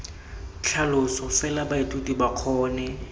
tlhaloso fela baithuti ba kgone